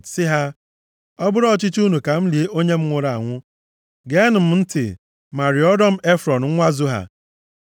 sị ha, “Ọ bụrụ ọchịchọ unu ka m lie onye m nwụrụ anwụ, geenụ m ntị ma rịọrọ m Efrọn nwa Zoha,